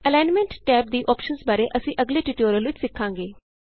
alignment tab ਦੀ options ਬਾਰੇ ਅਸੀਂ ਅਗਲੇ ਟਯੂਟੋਰਿਅਲ ਵਿਚ ਸਿੱਖਾਂਗੇ